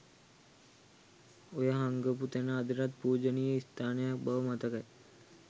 ඔය හංගපු තැන අදටත් පූජනීය ස්ථානයක් බව මතකයි.